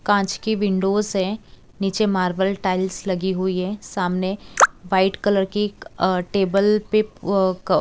कांच की विंडोस है नीचे मार्बल टाइल्स लगी हुई है सामने व्हाइट कलर की क टेबल पे अ क--